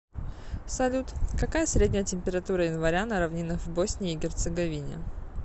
салют какая средняя температура января на равнинах в боснии и герцеговине